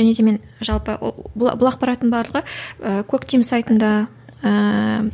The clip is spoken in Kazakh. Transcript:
және де мен жалпы ол бұл бұл ақпараттың барлығы ы коктим сайтында ыыы